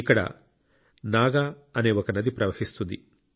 ఇక్కడ నాగా నది అనే ఒక నది ప్రవహిస్తుంది